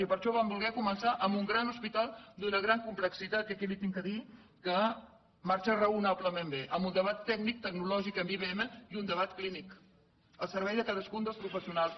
i per això vam voler començar amb un gran hospital d’una gran complexitat que aquí li he de dir que marxa raonablement bé amb un debat tècnic tecnològic amb ibm i un de bat clínic al servei de cadascun dels professionals